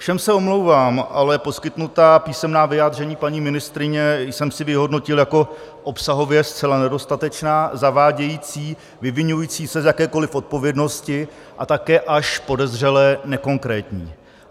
Všem se omlouvám, ale poskytnutá písemná vyjádření paní ministryně jsem si vyhodnotil jako obsahově zcela nedostatečná, zavádějící, vyviňující se z jakékoliv odpovědnosti a také až podezřele nekonkrétní.